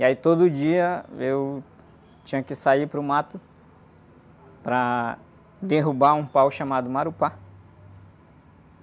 E aí todo dia eu tinha que sair para o mato para derrubar um pau chamado Marupá.